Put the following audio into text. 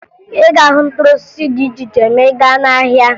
Ị ga-ahụ mkpụrụ osisi dị iche iche ma ị gaa n'ahịa